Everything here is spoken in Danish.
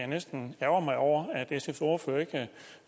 næsten ærgre mig over